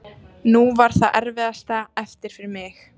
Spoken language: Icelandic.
Nú var það erfiðasta eftir fyrir mig.